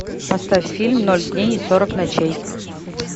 поставь фильм ноль дней и сорок ночей